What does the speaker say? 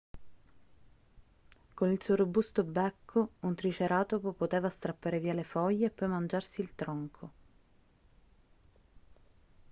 con il suo robusto becco un triceratopo poteva strappare via le foglie e poi mangiarsi il tronco